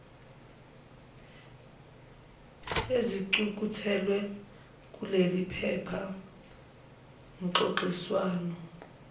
ezicukethwe kuleliphepha ngxoxiswano